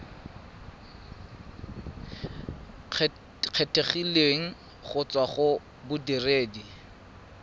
kgethegileng go tswa go bodiredi